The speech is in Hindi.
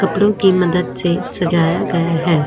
कपड़ों की मदद से सजाया गया है।